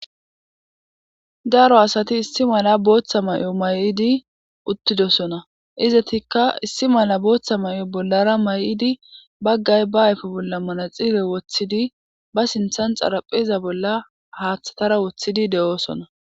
Daro asati issi mala booththa may7o may7idi uttidosona izatikka issi mala booththa may7o bollara may7idi baggay ba ayfo bolla manaxire woththidi ba sinthan xarapheza bolla haaththatara woththidi de7oosona.